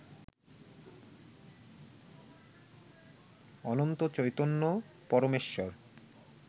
Ananta Chaitanya Parameshwar